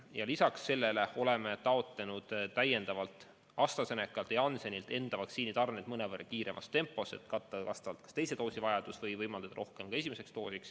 Ja lisaks sellele oleme taotlenud täiendavalt AstraZenecalt ja Janssenilt oma vaktsiinitarneid mõnevõrra kiiremas tempos, et katta kas teise doosi vajadust või võimaldada rohkem esimesi doose.